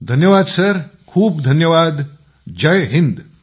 धन्यवाद सर खूप खूप धन्यवाद जय हिंद